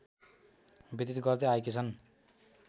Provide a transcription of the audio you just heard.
व्यतित गर्दै आएकी छन्